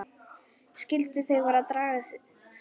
Skyldu þau vera að draga sig saman?